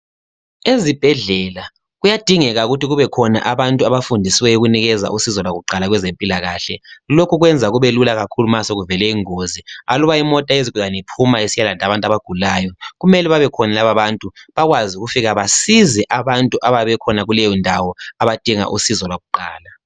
Ezibhedlela kuyadingeka ukuthi kube khona abantu abafundisiweyo ukunikeza usizo lwakuqala kwezempilakahle. Lokhu kwenza kube lula kakhulu ma sekuvele ingozi. Aluba imota yezigulani iphuma isiyalanda abantu abagulayo kumele bebekhona laba abantu bakwazi ukufika basize abantu abayabe bekhona kuleyo ndawo abadinga usizo usizo lwakuqala.